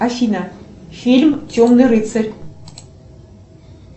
афина фильм темный рыцарь